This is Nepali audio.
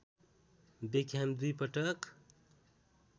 बेक्ह्याम दुई पटक